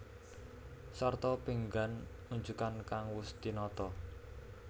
Sarta pinggan unjukan kang wus tinata